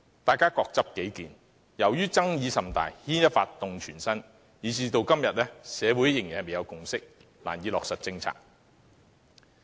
大家各執己見，由於爭議甚大，牽一髮動全身，以致社會到今天仍未有共識，難以落實任何政策。